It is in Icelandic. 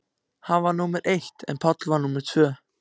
Hann var númer eitt en Páll númer tvö.